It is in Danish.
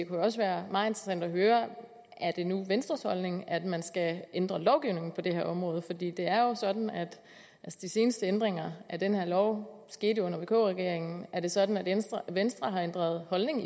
jo også være meget interessant at høre om det nu er venstres holdning at man skal ændre lovgivningen på det her område for det er jo sådan at de seneste ændringer af den her lov skete under vk regeringen er det sådan at venstre venstre har ændret holdning